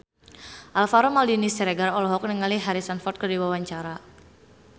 Alvaro Maldini Siregar olohok ningali Harrison Ford keur diwawancara